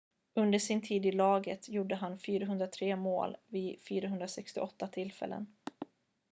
under sin tid i laget gjorde han 403 mål vid 468 tillfällen